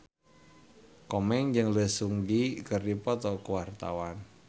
Komeng jeung Lee Seung Gi keur dipoto ku wartawan